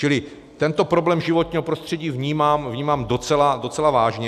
Čili tento problém životního prostředí vnímám docela vážně.